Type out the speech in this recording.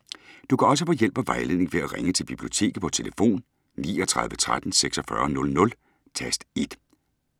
Du kan også få hjælp og vejledning ved at ringe til Biblioteket på tlf. 39 13 46 00, tast 1.